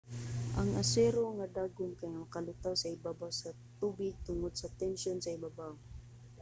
ang asero nga dagom kay makalutaw sa ibabaw sa tubig tungod sa tensyon sa ibabaw